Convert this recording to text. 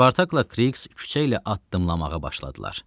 Spartakla Kriks küçə ilə addımlamağa başladılar.